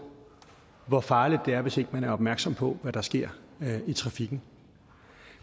hvor farligt det er hvis ikke man er opmærksom på hvad der sker i trafikken